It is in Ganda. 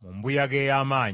mu mbuyaga ey’amaanyi.